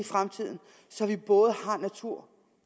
fremtiden så vi både har natur